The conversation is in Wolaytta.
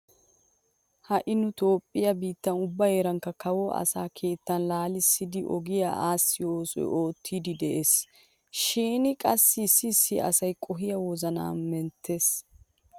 Ha"i nu toophphiya biittan ubba heeranikka kawoy asa keettaa laalissidi ogiya aassiyo osuwa oottiiddi de'ees. Shin qassi issi issi asaa qohoy wozanaa menttees.